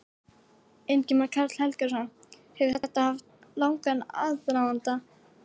Ingimar Karl Helgason: Hefur þetta haft langan aðdraganda?